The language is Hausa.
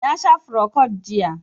Na sha frocod jiya